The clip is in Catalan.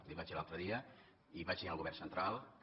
li vaig dir l’altre dia i vaig dir al govern central que